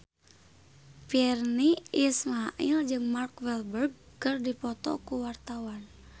Virnie Ismail jeung Mark Walberg keur dipoto ku wartawan